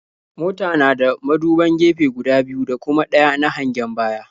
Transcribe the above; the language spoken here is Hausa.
Mota na da muduban gefe guda biyu da kuma ɗaya na hangen baya.